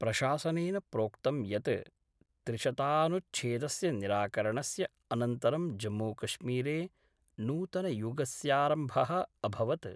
प्रशासनेन प्रोक्तं यत् त्रिशतानुच्छेदस्य निराकरणस्य अनन्तरं जम्मूकश्मीरे नूतनयुगस्यारम्भः अभवत्।